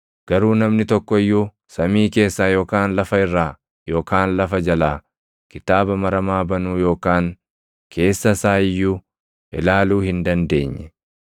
Garuu namni tokko iyyuu samii keessaa yookaan lafa irraa yookaan lafa jalaa kitaaba maramaa banuu yookaan keessa isaa iyyuu ilaaluu hin dandeenye.